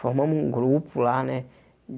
Formamos um grupo lá, né?